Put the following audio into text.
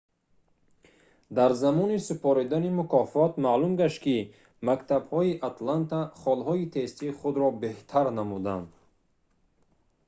дар замони супоридани мукофот маълум гашт ки мактабҳои атланта холҳои тестии худро беҳтар намуданд